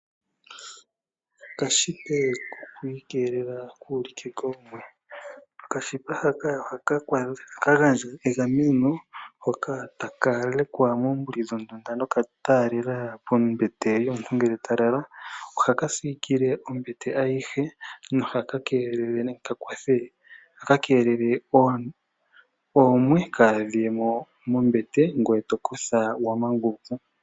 Okanete ko ku ikeelela kuu halike koomwe. Onete haka ohaka gandja egameno hoka taka tsilikwa moombuli dhondunda noku taalela pombete yomuntu ngele ta lala. Ohaka siikile ombete ayihe no haka keelele nenge kakwathe, ohaka keelele oomwe kadhiye mombete ngoye to kotha wa manguluka.